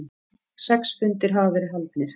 Sex fundir hafa verið haldnir.